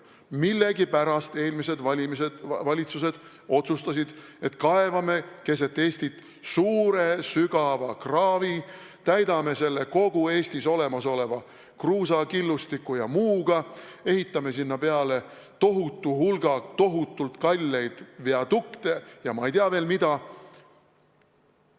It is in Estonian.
Millegipärast eelmised valitsused otsustasid, et kaevame keset Eestit suure sügava kraavi, täidame selle kogu Eestis olemasoleva kruusa, killustiku ja muuga, ehitame sinna tohutu hulga tohutult kalleid viadukte ja ma ei tea veel mida.